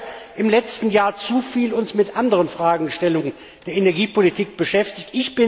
Vielleicht haben wir uns im letzten Jahr zu viel mit anderen Fragestellungen der Energiepolitik beschäftigt.